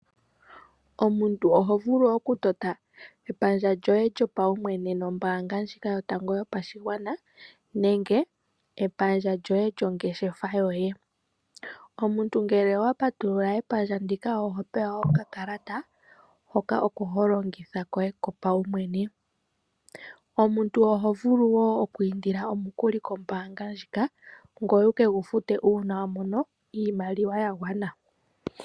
Omuntu ohovulu okutota epandja lyoye lyopaumwene nombaanga ndjika yotango yopashigwana nenge epandja lyoye lyongeshefa yoye. Omuntu ngele owapatulula epandja ndika ohopewa okakalata hoka oko holongitha koye kopaumwene. Omuntu ohovulu wo okwiindila omukuli kombaanga ndjika, ngoye wu ke gufute uuna wamono iimaliwa yagwana.